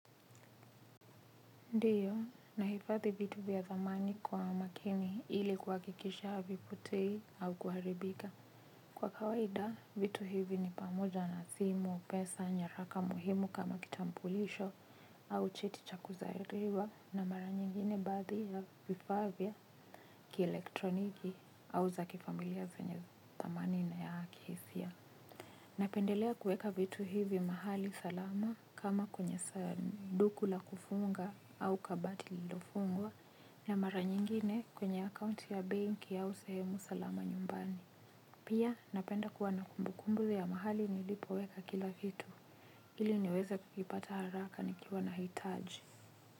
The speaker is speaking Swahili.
Ndiyo, nahifadhi vitu vya zamani kwa makini ili kuhakikisha havipotei au kuharibika. Kwa kawaida, vitu hivi ni pamoja na simu, pesa, nyaraka muhimu kama kitambulisho au cheti cha kuzaliwa na mara nyingine baadhi ya vifaa vya, kielektroniki au za kifamilia zenye thamani na ya kihisia. Napendelea kuweka vitu hivi mahali salama kama kwenye sanduku la kufunga au kabati lilofungwa na mara nyingine kwenye akaunti ya benki au sehemu salama nyumbani. Pia napenda kuwa na kumbukumbu ya mahali nilipoweka kila kitu. Ili niweza kukipata haraka nikiwa na hitaji.